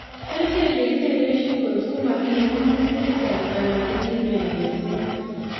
Kerichek chekiteren shingles komatinye ng'emutik cheyach anan chekimen missing